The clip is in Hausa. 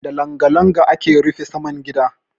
Da langa-langa ake rufe saman gida.